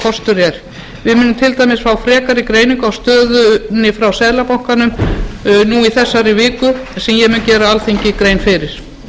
kostur er við munum til dæmis fá frekari greiningu á stöðunni frá seðlabankanum núna í þessari viku sem ég mun gera alþingi grein fyrir